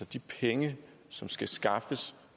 de penge som skal skaffes